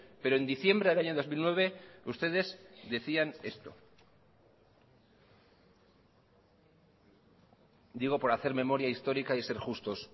pero en diciembre del año dos mil nueve ustedes decían esto digo por hacer memoria histórica y ser justos